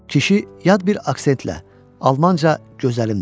Kişi yad bir aksentlə almanca “gözəlim” dedi.